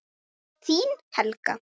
Þín Helga.